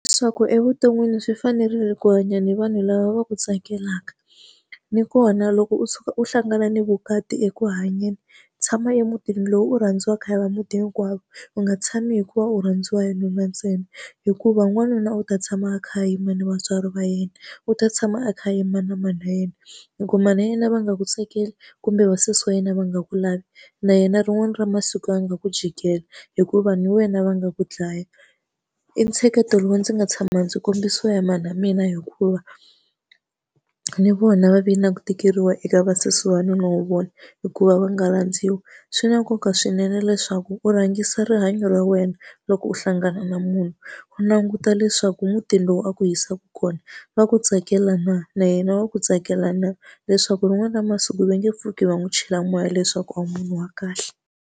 Leswaku evuton'wini swi fanerile ku hanya ni vanhu lava va ku tsakelaka. Ni kona loko u tshuka u hlangana ni vukati eku hanyeni tshama emutini lowu u rhandziwaka hi va muti hinkwawo, u nga tshami hikuva u rhandziwa hi nuna ntsena. Hikuva n'wanuna u ta tshama a kha a yima ni vatswari va yena, u ta tshama a kha a yima na mana wa yena. Loko mana wa yena va nga ku tsakeli kumbe vasesi wa yena va nga ku lavi, na yena rin'wana ra masiku ya nga ku jikela. Hikuva na wena va nga ku dlaya. I ntsheketo lowu ndzi nga tshama ndzi kombisiwa hi mana wa mina hikuva na vona va ve na ku tikeriwa eka vasesi wanuna wa vona hikuva va nga landziwi. Swi na nkoka swinene leswaku u rhangisa rihanyo ra wena loko u hlangana na munhu, u languta leswaku mutini lowu a ku yisaka kona va ku tsakela na na yena wa ku tsakela na, leswaku rin'wana ra masiku va nge pfuki va n'wi chela moya leswaku a wu munhu wa kahle.